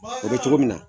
O bɛ cogo min na